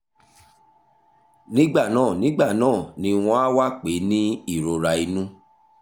nígbà náà nígbà náà ni wọ́n á wá pè é ní ìrora inú